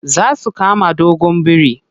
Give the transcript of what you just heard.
Za su kama goggon biri.